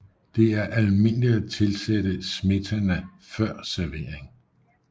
Det er almindeligt at tilsætte smetana før servering